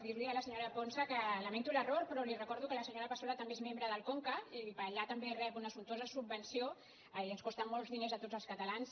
dir li a la senyora ponsa que lamento l’error però li recordo que la senyora passola també és membre del conca i d’allà també rep una sumptuosa subvenció i ens costa molts diners a tots els catalans